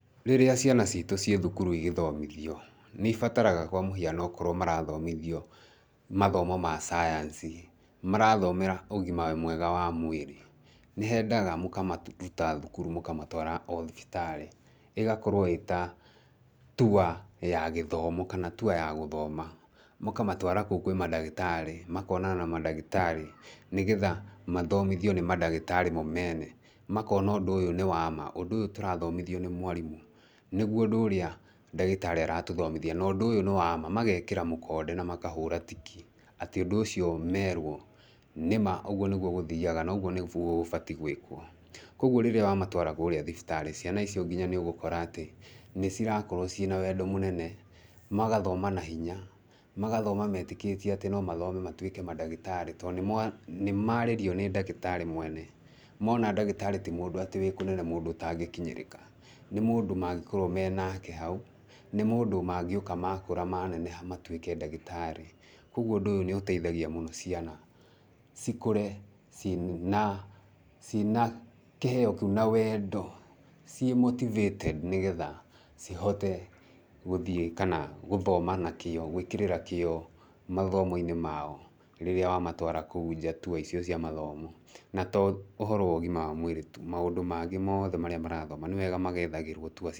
Rĩrĩa ciana citũ ciĩ thukuru igĩthomithio, nĩ ibataraga kwa mũhiano okorwo marathomithio mathomo ma cayanci, marathomera ũgima mwega wa mwĩrĩ, nĩ hendaga mũkamaruta thukuru mũkamatwara o thibitarĩ, ĩgakorwo ĩta tour ya gĩthomo kana tour ya gũthoma, mũkamatwara kũu kwĩ mandagĩtarĩ, makonana na mandagĩtarĩ, nĩgetha mathomithio nĩ mandagĩtarĩ mo mene, makona ũndũ ũyũ nĩ wa ma, ũndũ ũyũ tũrathomithio nĩ mwarimũ, nĩguo ũndũ ũrĩa ndagĩtarĩ aratũthomithia, na ũndũ ũyũ nĩ wa ma, magekĩra mũkonde na magekĩra tiki atĩ ũndũ ũcio merwo nĩma ũguo nĩguo gũthiaga na ũguo nĩguo gũbatiĩ gwĩkwo, koguo rĩrĩa wamatwara kũrĩa thibitarĩ, ciana icio nginya nĩ ũgũkora atĩ nĩ cirakorwo ciĩna wendo mũnene magathoma nahinya, magathoma metĩkĩtie atĩ no mathome matuĩke mandagĩtarĩ, tondũ nĩmarĩrio nĩ ndagĩtarĩ mwene, mona ndagĩtarĩ ti mũndũ atĩ wĩ kũnene mũndũ ũtangĩkinyĩrĩka, nĩ mũndũ mangĩkorwo menake hau, nĩ mũndũ mangĩũka makũra maneneha matwĩke ndagĩtarĩ, koguo ũndũ ũyũ nĩ ũteithagia mũno ciana cikũre ciĩna ciĩna kĩheo kĩu na wendo ciĩ motivated nĩgetha cihote gũthiĩ kana gũthoma na kĩo, gwĩkĩrĩra kĩo mathomo-inĩ mao rĩrĩa wamatwara kũu nja tour icio cia mathomo, na to ũhoro wa ũgima wa mwĩrĩ tu, maũndũ mangĩ mothe marĩa marathoma, nĩ wega magethagĩrwo tour.